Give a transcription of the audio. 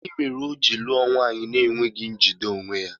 Gịnị mere o ji lụọ nwaanyị ahụ na-enweghi njide onwe ya?